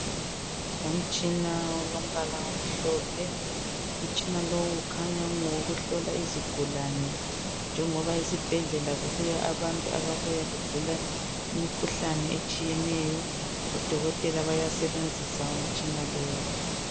umtshina olombala omhlophe, umtshina lo ukhanya ungowokuhlola izigulane njengoba esibhedlela kubuya abantu ababuya begula imikhuhlane etshiyeneyo odokotela bayasebenzisa umtshina lowo.